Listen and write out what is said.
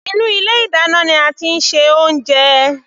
Inú ilé ìdáná ní a tí ń ṣe oúnjẹ.